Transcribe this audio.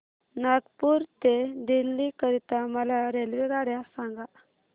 नागपुर ते दिल्ली करीता मला रेल्वेगाड्या सांगा